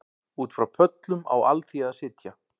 Út frá pöllum á alþýða að sitja